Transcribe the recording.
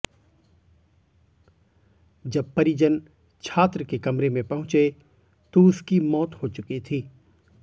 जब परिजन छात्र के कमरे में पहुंचे तो उसकी मौत हो चुकी थी